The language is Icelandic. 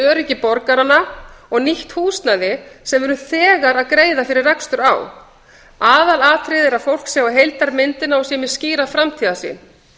öryggi borgaranna og nýtt húsnæði sem við erum þegar að greiða fyrir rekstur á aðalatriðið er að fólk sjái heildarmyndina og sé með skýra framtíðarsýn